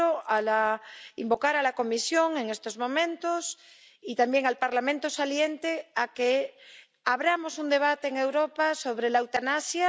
Yo quiero pedir a la Comisión en estos momentos, y también al Parlamento saliente, que abramos un debate en Europa sobre la eutanasia.